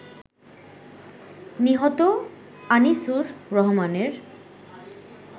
নিহত আনিসুর রহমানের